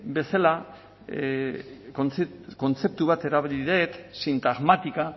bezala kontzeptu bat erabili dut sintagmática